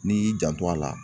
N'i y'i janto a la